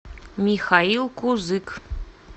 михаил кузык